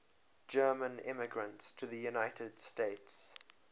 german immigrants to the united states